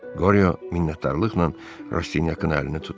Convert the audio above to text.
Qoryo minnətdarlıqla Rastinyakın əlini tutdu.